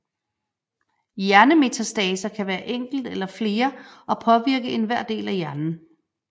Hjernemetastaser kan være enkelt eller flere og påvirke enhver del af hjernen